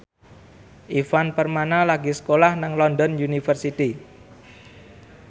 Ivan Permana lagi sekolah nang London University